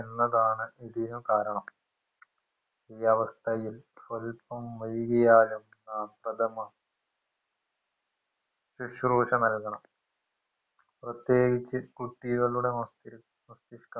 കാരണം ഈ അവസ്ഥയിൽ സ്വൽപ്പം വൈകിയാലും ആ പ്രഥമ സുസ്രൂഷ നൽകണം പ്രേത്യേകിച് കുട്ടികളുടെ മസ്തിഷ്‌ മസ്തിഷ്ക